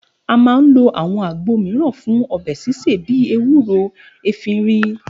A máa ń lo áwo̩n àgbo mìíràn fún o̩bè̩ sísè bíi ewúro, efiri